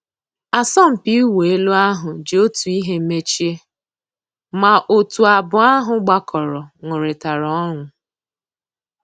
Àsọ̀mpị́ ị̀wụ́ èlú àhú́ jì Ótú ị́hé mèchíé, má ótú àbụ́ọ́ àhú́ gbàkọ́rọ́ nụ́rị́tàrá ọnụ́.